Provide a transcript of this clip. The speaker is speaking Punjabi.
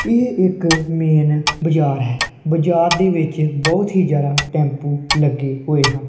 ਇਹ ਇੱਕ ਮੇਨ ਬਾਜ਼ਾਰ ਹੈ ਬਾਜ਼ਾਰ ਦੇ ਵਿੱਚ ਬਹੁਤ ਹੀ ਜਿਆਦਾ ਟੈਪੂ ਲੱਗੇ ਹੋਏ ਹਨ।